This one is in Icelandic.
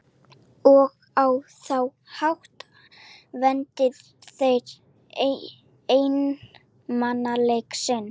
Þórhildur: Eru einhver atriði í uppáhaldi hjá ykkur?